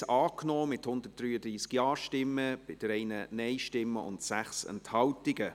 Sie haben die Ziffer 1 der Motion angenommen, mit 133 Ja- und 3 Nein-Stimmen bei 6 Enthaltungen.